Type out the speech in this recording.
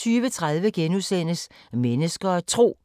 20:30: Mennesker og Tro: